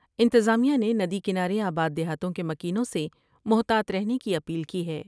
انتظامیہ نے ندی کنارے آباد د یہاتوں کے مکینوں سے محتاط رہنے کی اپیل کی ہے ۔